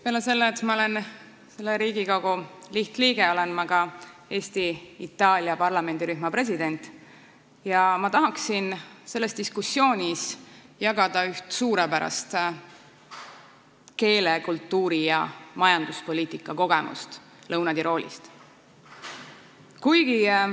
Peale selle, et ma olen selle Riigikogu lihtliige, olen ma ka Eesti-Itaalia parlamendirühma president ja ma tahaksin selles diskussioonis jagada üht suurepärast keele-, kultuuri- ja majanduspoliitika kogemust Lõuna-Tiroolist.